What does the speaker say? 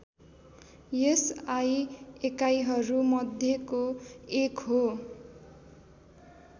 SI एकाइहरू मध्येको एक हो